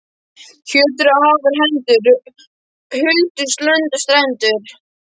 Fjötruðu Haðar hendur, huldust lönd og strendur.